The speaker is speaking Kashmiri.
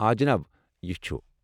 آ جناب، یہِ چھُ۔